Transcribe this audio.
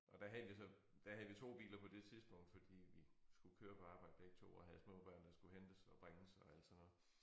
Og der havde vi så der havde vi 2 biler på det tidspunkt fordi vi skulle køre på arbejde begge 2 og havde små børn der skulle hentes og bringes og alt sådan noget